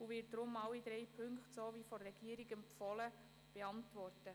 Sie wird deshalb, wie von der Regierung empfohlen, alle drei Punkte beantworten.